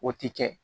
O ti kɛ